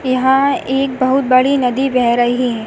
यहाँ एक बहुत बड़ी नदी बह रही है।